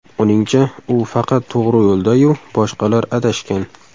Uningcha, u faqat to‘g‘ri yo‘lda-yu, boshqalar adashgan.